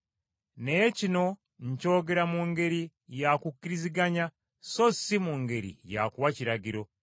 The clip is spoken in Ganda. Naye kino nkyogera mu ngeri ya kukkiriziganya so si mu ngeri ya kuwa kiragiro.